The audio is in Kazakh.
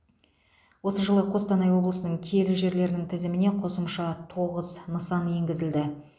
осы жылы қостанай облысының киелі жерлерінің тізіміне қосымша тоғыз нысан енгізілді